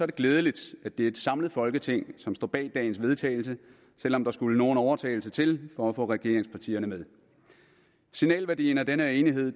det glædeligt at det er et samlet folketing som står bag dagens vedtagelse selv om der skulle nogen overtalelse til for at få regeringspartierne med signalværdien af den her enighed er